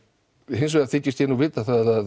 hins vegar þykist ég nú vita það